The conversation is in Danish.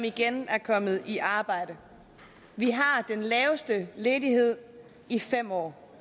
igen er kommet i arbejde vi har den laveste ledighed i fem år